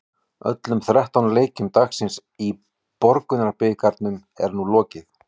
Öllum þrettán leikjum dagsins í Borgunarbikarnum er nú lokið.